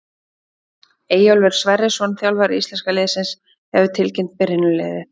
Eyjólfur Sverrisson, þjálfari íslenska liðsins, hefur tilkynnt byrjunarliðið.